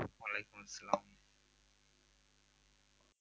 আলাইকুম আসসালাম